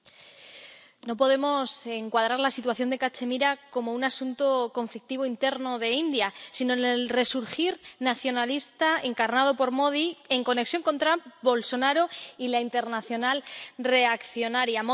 Señor presidente, no podemos encuadrar la situación de Cachemira como un asunto conflictivo interno de la India, sino en el resurgir nacionalista encarnado por Modi en conexión con Trump, Bolsonaro y la internacional reaccionaria.